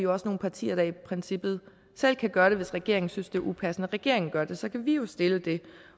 også nogle partier der i princippet selv kan gøre det hvis regeringen synes det er upassende at regeringen gør det så kan vi jo stille det